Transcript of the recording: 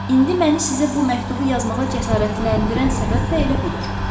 İndi məni sizə bu məktubu yazmağa cəsarətləndirən səbəb də elə budur.